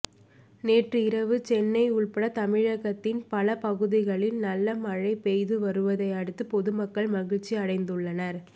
நேற்று இரவு சென்னை உள்பட தமிழகத்தின் பல பகுதிகளில் நல்ல மழை பெய்து வருவதை அடுத்து பொதுமக்கள் மகிழ்ச்சி அடைந்துள்ளனர்